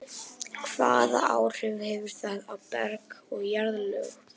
Hvaða áhrif hefur það á berg og jarðlög?